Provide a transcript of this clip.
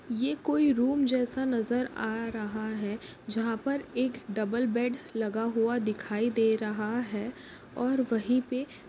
ये कोई रूम जैसा नज़र आ रहा है जहा पर एक डबल बेड लगा हुआ दिखाई दे रहा है और वही पे--